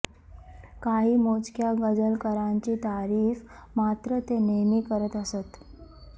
काही मोजक्या गझलकारांची तारीफ मात्र ते नेहमी करत असत